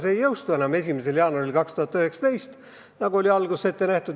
See ei jõustuks 1. jaanuaril 2019, nagu oli alguses ette nähtud.